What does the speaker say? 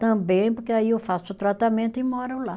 Também, porque aí eu faço o tratamento e moro lá.